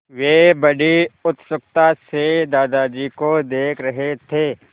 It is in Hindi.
वे बड़ी उत्सुकता से दादाजी को देख रहे थे